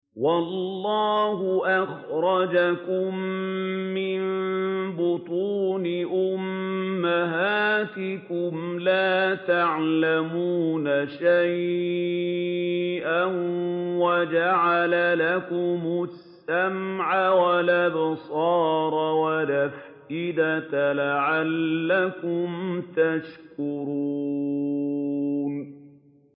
وَاللَّهُ أَخْرَجَكُم مِّن بُطُونِ أُمَّهَاتِكُمْ لَا تَعْلَمُونَ شَيْئًا وَجَعَلَ لَكُمُ السَّمْعَ وَالْأَبْصَارَ وَالْأَفْئِدَةَ ۙ لَعَلَّكُمْ تَشْكُرُونَ